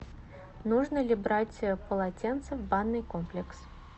нужно ли брать полотенце в банный комплекс